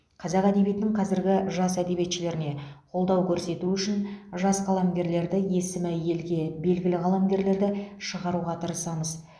қазақ әдебиетінің қазіргі жас әдебиетшілеріне қолдау көрсету үшін жас қаламгерлерді есімі елге белгілі қаламгерлерді шығаруға тырысамыз